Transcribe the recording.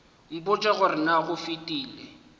mpotše gore na go fetile